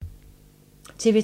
TV 2